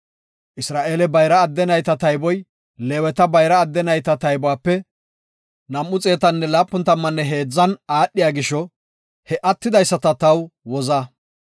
Isra7eele bayra adde nayta tayboy Leeweta bayra adde nayta taybuwape 273 aadhiya gisho he attidaysata taw woza.